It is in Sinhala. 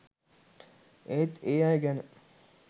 ඒත් ඒ අය ගැන